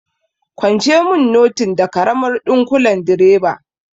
Kwance mun notin da karamar ɗunkulen direba!